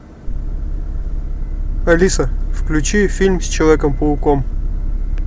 алиса включи фильм с человеком пауком